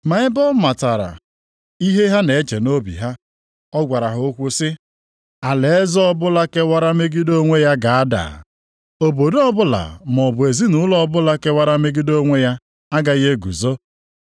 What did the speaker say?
Ma ebe ọ matara ihe ha na-eche nʼobi ha. Ọ gwara ha okwu sị, “Alaeze ọbụla kewara megide onwe ya ga-ada. Obodo o bụla maọbụ ezinaụlọ ọbụla kewara megide onwe ya agaghị eguzo.